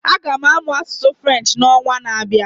Aga m amụ asụsụ French na onwa na abịa